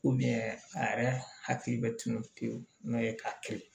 a yɛrɛ hakili bɛ tunun te n'o ye ka kelen